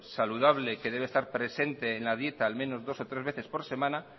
saludable que debe estar presente en la dieta al menos dos o tres veces por semana